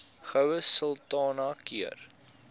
goue sultana keur